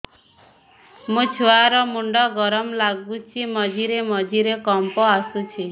ମୋ ଛୁଆ ର ମୁଣ୍ଡ ଗରମ ଲାଗୁଚି ମଝିରେ ମଝିରେ କମ୍ପ ଆସୁଛି